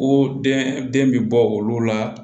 O den den bɛ bɔ olu la